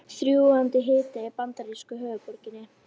Þrúgandi hiti í bandarísku höfuðborginni